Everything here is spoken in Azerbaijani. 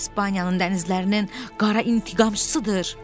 İspaniyanın dənizlərinin qara intiqamçısıdır.